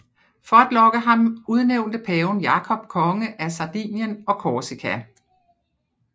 For at lokke ham udnævnte paven Jakob konge af Sardinien og Corsica